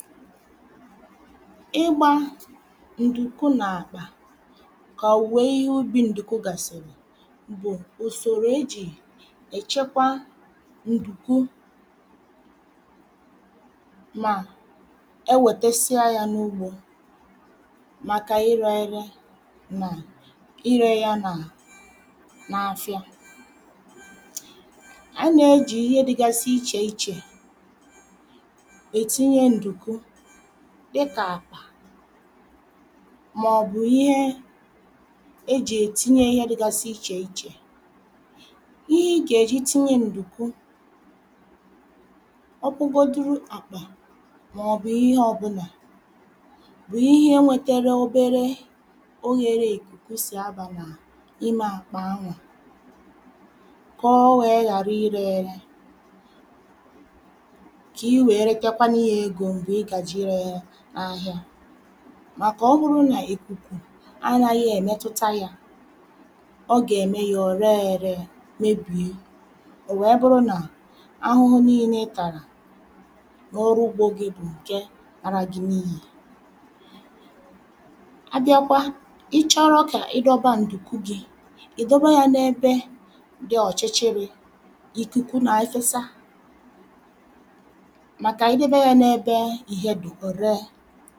ịgbā ǹdùku n’àkpà kà òòwe ihe ubī ǹdùku gàsị̀rị̀ bụ̀ ùsòrò ejì èchekwa ǹdùku mà ewètesia yā n’ugbō màkà ịrẹ̄ ẹrẹ nà irē yā n’afịa A nà-ejì ihe dịgasị ichè ichè ètinye ǹdùku dịkà àkpà mọ̀bụ̀ ihe ejì ètinye ihe dịgasị ichè ichè, ihe ị gà-èji tinye ǹdùku ọ bụgoduru àkpà mọ̀bụ̀ ihe ọbụlà bụ̀ ihe nwetere obere oyērē ìkùku sì abà n’ime àkpà anwà kọ̀ o wèe ghàrị ịrẹ̄ ẹrẹ kị̀ị wèe retakwanụ yā egō m̀gbè ị gàjèè irē ya n’ahịa màkà ọ bụrụ nà ìkùkù anāghị èmetụta yā ọ gẹ̀mẹ yā ò rẹẹ ẹrẹ mebìye ò wèe bụrụ nà ahụhụ nilē ị tàrà n’ọrụ ugbō gī bụ̀ ǹke lara gị n’iyì A bịakwa, ị chọrọ kà ịdọba ǹdùku gī, ị̀dọba yā n’ebe dị ọ̀chịchịrị̄ ìkùku nèfesa màkà idebe yā n’ebe ìhe dụ̀ ò ree